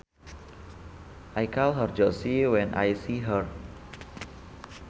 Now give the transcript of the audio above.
I call her Josie when I see her